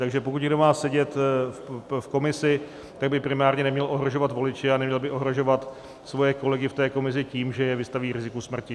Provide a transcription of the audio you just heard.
Takže pokud někdo má sedět v komisi, tak by primárně neměl ohrožovat voliče a neměl by ohrožovat své kolegy v té komisi tím, že je vystaví riziku smrti.